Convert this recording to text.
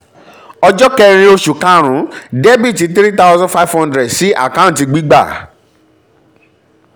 ọjọ́ kẹ́rin oṣù karùn-ún: dr 3500 sí àkáǹtì gbígbà